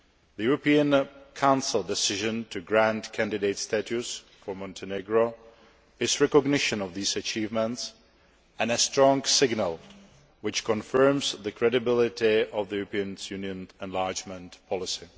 The European Council decision to grant candidate status to Montenegro is a recognition of these achievements and a strong signal which confirms the credibility of the European Union's enlargement policy.